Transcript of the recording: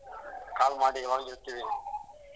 Call ಮಾಡಿ ಯಾವಾಗ್ಲೂ ಇರ್ತಿವಿ ನಿಮ್ಮೊಂದಿಗೆ